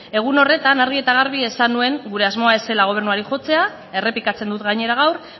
egun horretan argi eta garbi esan nuen gure asmoa ez zela gobernuari jotzea errepikatzen dut gainera gaur